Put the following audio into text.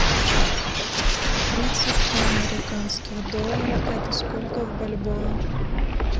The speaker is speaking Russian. тридцать два американских доллара это сколько в бальбоа